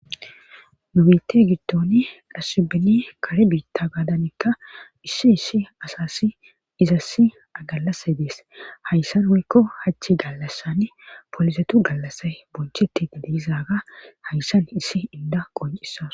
Nu bite gidtoni dhassubini kare biitta gaadanekka issi issi asassi izassi agalasa dees hayssan hoykko hachchi gallassann poolisetu gallassa bonchetti dideizaaga hayssan issi inda qoncisa.